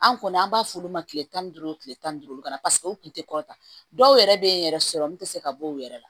An kɔni an b'a f'olu ma kile tan ni duuru kile tan ni duuru ka na paseke u kun tɛ kɔrɔtan dɔw yɛrɛ be yen yɛrɛ sɔrɔ min te se ka bɔ u yɛrɛ la